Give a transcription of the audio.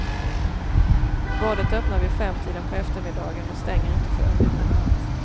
Badet öppnar vid femtiden på eftermiddagen och stänger inte förrän vid midnatt.